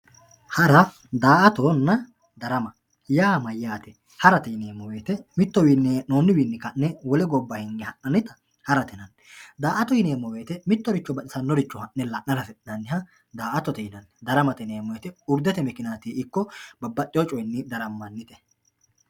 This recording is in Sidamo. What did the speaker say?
hara daa'atonna darama yaa mayyaate harate yineemmo woyte mitttowiinni hee'noonniwiinni ka'ne wole gobba hinge ha'nannita harate yinanni daa'ato yineemmo woyte mittoricho la'nara hasi'nanniha daa'atote yinanni daramate yinanniti urdetemikinatinni ikko babbaxewo coyni darammanite